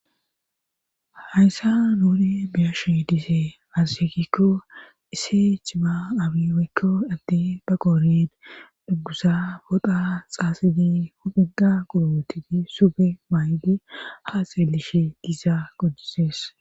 Hayssa nuuni biyashe dise mazzekikko ise chima abi woykko adde ba qoored duggusa foda xaasidi hupuda qurootidi sube maaydi haa seelishe gizaa qojises.